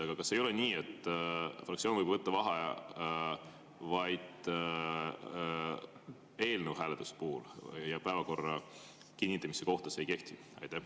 Aga kas ei ole nii, et fraktsioon võib võtta vaheaja vaid eelnõu hääletuse puhul ja päevakorra kinnitamise kohta see ei kehti?